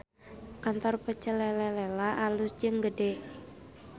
Kantor Pecel Lele Lela alus jeung gede